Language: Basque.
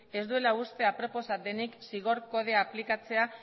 ez duela uste aproposa denik zigor kodea aplikatzea